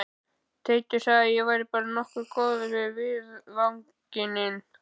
Teitur sagði að væri bara nokkuð góð af viðvaningi